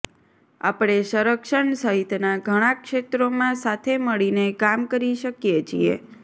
આપણે સંરક્ષણ સહિતના ઘણા ક્ષેત્રોમાં સાથે મળીને કામ કરી શકીએ છીએ